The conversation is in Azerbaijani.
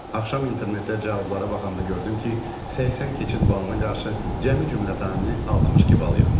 Axşam internetdə cavablara baxanda gördüm ki, 80 keçid balına qarşı cəmi-cümlətanı 62 bal yığmışam.